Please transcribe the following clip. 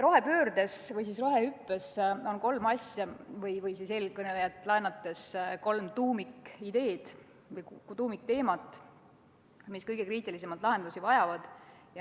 Rohepöördes või siis rohehüppes on kolm asja või siis eelkõnelejalt laenates kolm tuumikideed või tuumikteemat, mis kõige kriitilisemalt lahendusi vajavad.